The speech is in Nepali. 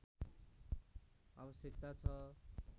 आवश्यकता छ